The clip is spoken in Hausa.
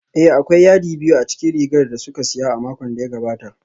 Ee, akwai yadi biyu a cikin rigar da kuka siya a makon da ya gabata